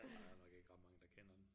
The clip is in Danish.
Der er bare nok ikke ret mange der kender den